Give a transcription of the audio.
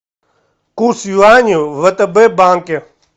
курс юаня в втб банке